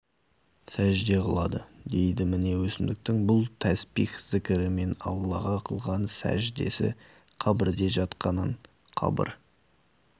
сәжде қылады дейді міне өсімдіктің бұл тәспих зікірі мен аллаға қылған сәждесі қабірде жатқанның қабір